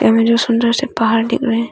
में जो सुंदर से पहार दिख रहे हैं।